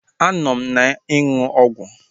Anọ m na-ịṅụ ọgwụ